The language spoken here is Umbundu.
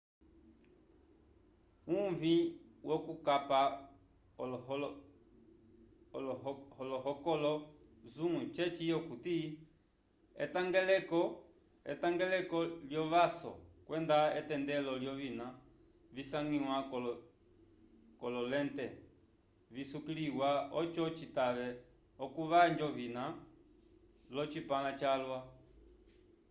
uvĩ wokukapa olohokolo zoom ceci okuti etangeleko lyovaso kwenda etendelo lyovina visangiwa k'ololente visukiliwa oco citave okuvanja ovina l'ocipãla calwa